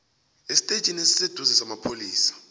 estetjhini esiseduze samapholisa